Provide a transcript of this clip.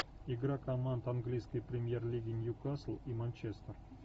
игра команд английской премьер лиги ньюкасл и манчестер